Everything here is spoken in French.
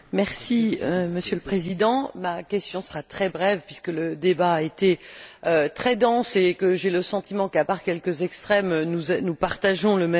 Monsieur le Président, ma question sera très brève puisque le débat a été très dense et que j'ai le sentiment qu'à part quelques extrêmes, nous partageons le même souci.